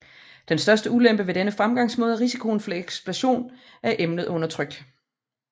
Den største ulempe ved denne fremgangsmåde er risikoen for eksplosion af et emne under tryk